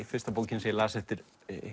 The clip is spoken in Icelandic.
fyrsta bókin sem ég las eftir